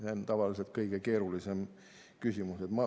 See ongi tavaliselt kõige keerulisem küsimus.